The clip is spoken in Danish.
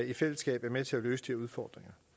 i fællesskab er med til at løse de udfordringer